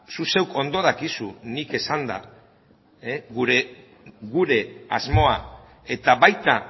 zu zeuk ondo dakizu nik esanda gure asmoa eta baita